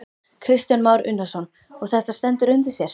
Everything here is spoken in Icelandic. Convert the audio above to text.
Kristján Már Unnarsson: Og þetta stendur undir sér?